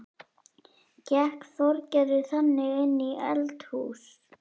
Gekk Þorgerður þegar inn í eldahús.